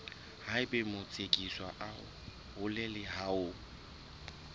haeba motsekiswa a hloleha ho